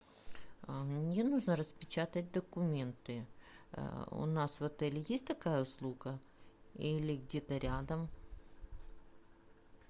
мне нужно распечатать документы у нас в отеле есть такая услуга или где то рядом